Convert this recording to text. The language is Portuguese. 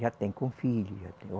Já tem com filho, já tem